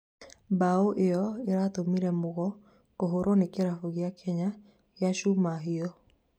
mbao ĩyo ĩratũmire Mugo kũhũrwo nĩ kĩrabu gĩa Kenya gia Chuma hiũ.